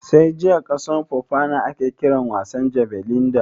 Sai jiya kasan Foona ake kiran wasan jabelin da?